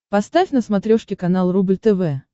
поставь на смотрешке канал рубль тв